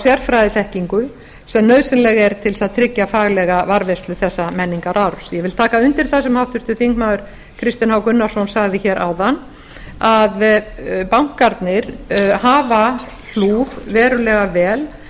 sérfræðiþekkingu sem nauðsynleg er til þess að tryggja faglega varðveislu þessa menningararfs ég vil taka undir það sem háttvirtur þingmaður kristinn h gunnarsson sagði hér áðan að bankarnir hafa hlúð verulega vel